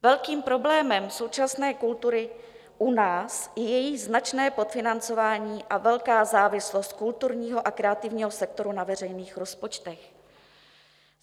Velkým problémem současné kultury u nás je její značné podfinancování a velká závislost kulturního a kreativního sektoru na veřejných rozpočtech.